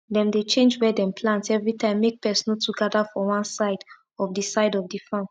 dem dey change where dem plant every time make pest no too gather for one side of the side of the farm